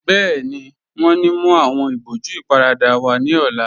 Bẹẹni, wọn ní mú awọn ìbòjú ìparada wa ní ọ̀la